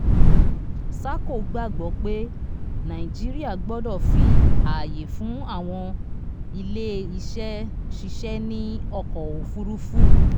sahco gbàgbọ́ pé naijiría gbọdọ̀ fi ààyé fún àwọn ilé iṣẹ́ ṣìṣẹ ní ọkọ̀ òfúrufú.